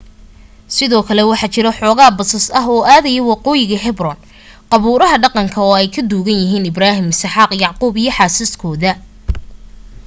sidoo kale waxaa jiro xooga basas ah oo aadaya waqoyiga hebron qabuuraha dhaqanka oo ay ku duugan yihiin ibrahim isxaaq yacquub iyo xaasaskoda